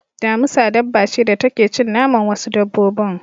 Damusa dabba ce da take cin naman wasu dabbobin.